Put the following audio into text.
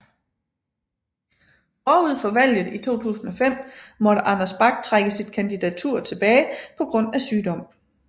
Forud for valget i 2005 måtte Anders Bak trække sit kandidatur tilbage på grund af sygdom